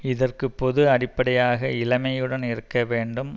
இதற்கு பொது அடிப்படையாக இளமையுடன் இருக்க வேண்டும்